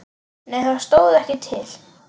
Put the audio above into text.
Nei það stóð ekki til.